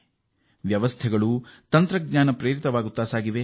ನಮ್ಮ ವ್ಯವಸ್ಥೆಯೂ ತಂತ್ರಜ್ಞಾನ ಆಧಾರಿತವಾಗುತ್ತಿದೆ